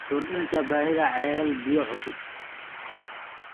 Kordhinta baahida ceelal biyood cusub.